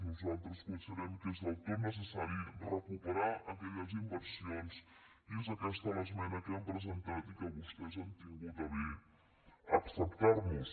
nosaltres considerem que és del tot necessari recuperar aquelles inversions i és aquesta l’esmena que hem presentat i que vostès han tingut a bé acceptar nos